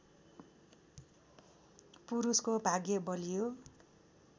पुरूषको भाग्य बलियो